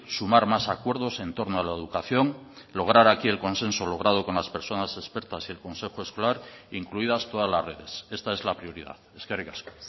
sumar más acuerdos entorno a la educación lograr aquí el consenso logrado con las personas expertas y el consejo escolar incluidas todas las redes esta es la prioridad eskerrik asko